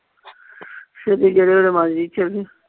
ਸਵੇਰੇ ਜਿਹੜੇ ਵੇਲੇ ਮਰਜੀ ਚਲਜੀ।